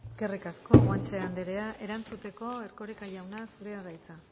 eskerrik asko guanche anderea erantzuteko erkoreka jauna zurea da hitza